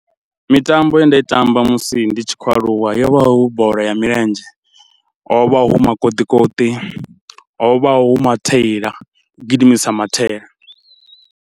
Mitambo ye nda i tamba musi ndi tshi khou aluwa yo vha hu bola ya milenzhe, ho vha hu makoṱikoṱi, ho vha hu mathaila u gidimisa mathaila.